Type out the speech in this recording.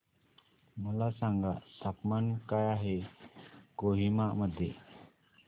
मला सांगा तापमान काय आहे कोहिमा मध्ये